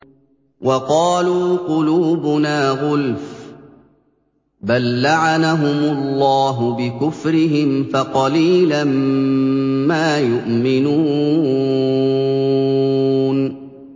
وَقَالُوا قُلُوبُنَا غُلْفٌ ۚ بَل لَّعَنَهُمُ اللَّهُ بِكُفْرِهِمْ فَقَلِيلًا مَّا يُؤْمِنُونَ